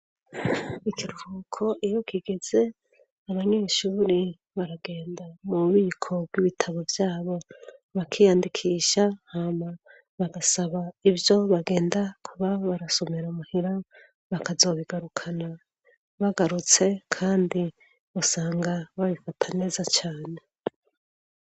ikiruhuko iyo kigeze abanyeshure baragenda mu bubiko bw'ibitabo byabo bakiyandikisha hama bagasaba ibyo bagenda kuba barasomera muhira bakazobigarukana bagarutse kandi usanga babifata neza cyane